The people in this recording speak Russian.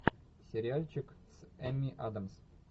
сериальчик с эми адамс